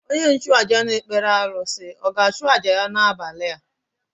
Onye nchụàjà na-ekpere arụsị ọ̀ ga-achụ àjà ya n’abalị a?